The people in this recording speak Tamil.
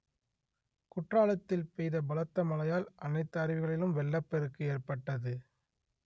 குற்றாலத்தில் பெய்த பலத்த மழையால் அனைத்து அருவிகளிலும் வெள்ளப் பெருக்கு ஏற்பட்டது